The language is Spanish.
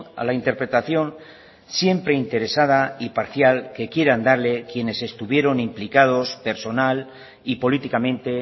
a la interpretación siempre interesada y parcial que quieran darle quienes estuvieron implicados personal y políticamente